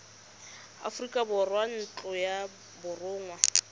aforika borwa ntlo ya borongwa